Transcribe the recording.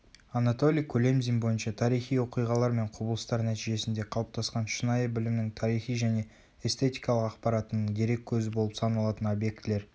анатолий кулемзин бойынша тарихи оқиғалар мен құбылыстар нәтижесінде қалыптасқан шынайы білімнің тарихи және эстетикалық ақпаратының дереккөзі болып саналатын объектілер